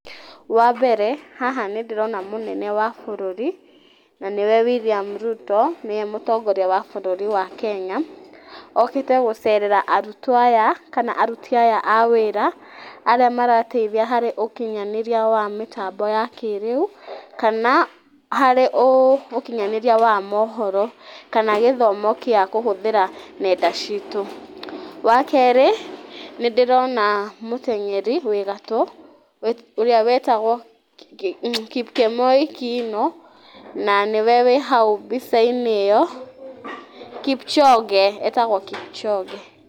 Wambere haha nĩ ndíĩona mũnene wa bũrũri na nĩwe William Ruto nĩwe mũtongoria wa bũrũri wa Kenya okĩte gũcerera arutwo aya akana aruti aya a wĩra arĩa marateithia harĩ ũkinyanĩria wa mĩtambo ya kĩrĩu kana harĩ ũkinyanĩria wa mohoro kana gĩthomo gĩa kũhũthĩra nenda citũ. Wakerĩ nĩ ndĩrona mũtenyeri wĩ gatũ ũrĩa wĩtagwo Kipkemoi Kiino na nĩwe wĩ hau mbicainĩ ĩyo Kipchoge etagwo Kipchoge.